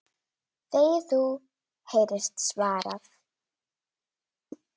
Þegi þú! heyrist svarað.